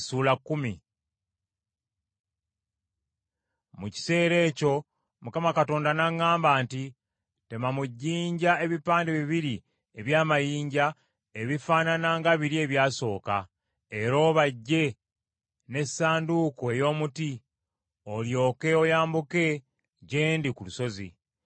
Mu kiseera ekyo Mukama Katonda n’aŋŋamba nti, “Tema mu jjinja ebipande bibiri eby’amayinja ebifaanana nga biri ebyasooka, era obajje n’Essanduuko ey’omuti, olyoke oyambuke gye ndi ku lusozi.